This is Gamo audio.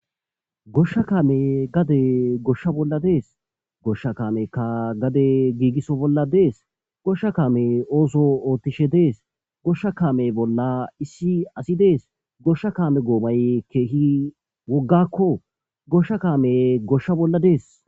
Goshsha kaame gade goshsha bolla dees goshsha kaameka gade giigiso bolla dees goshsha kaame ooso oothtishe dees goshsha kaame bolla issi asi dees goshsha kaame goomay keehi woggakko goshsha kaame goshsha bolla dees